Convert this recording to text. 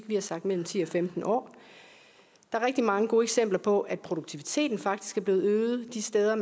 vi har sagt mellem ti og femten år der er rigtig mange gode eksempler på at produktiviteten faktisk er blevet øget de steder